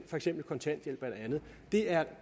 for eksempel kontanthjælp eller andet det er